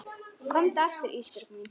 Komdu aftur Ísbjörg mín.